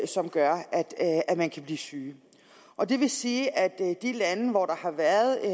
som gør at man kan blive syg og det vil sige at de lande hvor der har været